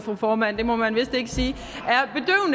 fru formand det må man vist ikke sige